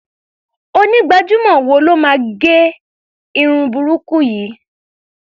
Onígbàjamọ̀ wo ló bá ẹ gẹ irun burúkú yìí?